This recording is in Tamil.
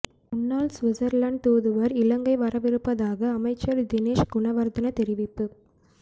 முன்னாள் சுவிட்சர்லாந்து தூதுவர் இலங்கை வரவிருப்பதாக அமைச்சர் தினேஸ் குணவர்தன தெரிவிப்பு